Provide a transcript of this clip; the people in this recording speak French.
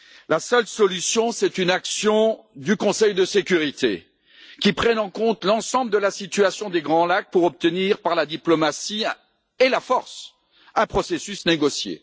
La seule solution, c'est une action du Conseil de sécurité qui prenne en compte l'ensemble de la situation des Grands Lacs pour obtenir, par la diplomatie et la force, un processus négocié.